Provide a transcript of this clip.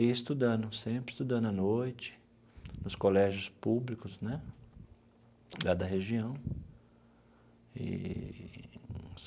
E estudando, sempre estudando à noite, nos colégios públicos né da da região eee.